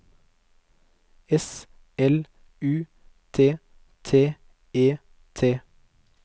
S L U T T E T